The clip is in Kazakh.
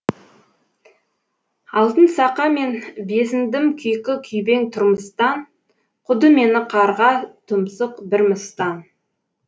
алтын сақа мен безіндім күйкі күйбең тұрмыстан қуды мені қарға тұмсық бір мыстан